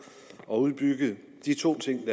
at få udbygget de to ting